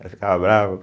Ela ficava brava.